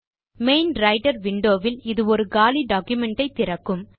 main writer window வில் இது ஒரு காலி டாக்குமென்ட் ஐ திறக்கும்